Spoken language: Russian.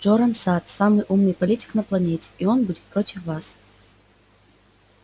джоран сатт самый умный политик на планете и он будет против вас